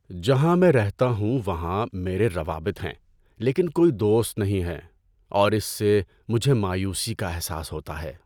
جہاں میں رہتا ہوں وہاں میرے روابط ہیں لیکن کوئی دوست نہیں ہے اور اس سے مجھے مایوسی کا احساس ہوتا ہے۔